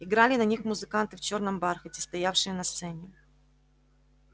играли на них музыканты в чёрном бархате стоявшие на сцене